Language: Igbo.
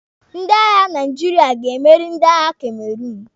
Ndị agha Naijiria ga-emeri ndị agha Cameroun.